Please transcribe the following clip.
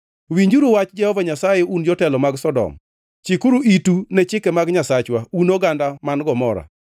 Winjuru wach Jehova Nyasaye un jotelo mag Sodom, chikuru itu ne chike mag Nyasachwa un oganda man Gomora!